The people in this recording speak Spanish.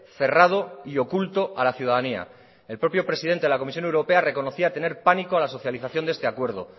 cerrado y oculto a la ciudadanía el propio presidente de la comisión europea reconocía tener pánico a la socialización de este acuerdo